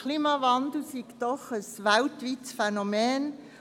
Der Klimawandel sei doch ein weltweites Phänomen;